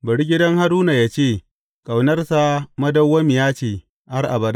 Bari gidan Haruna yă ce, Ƙaunarsa madawwamiya ce har abada.